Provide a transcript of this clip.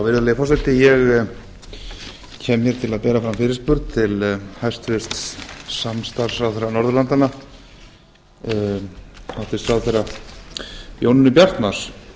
virðulegi forseti ég kem hér til að bera fram fyrirspurn til hæstvirtur samstarfsráðherra norðurlandanna hæstvirtur ráðherra jónínu bjartmarz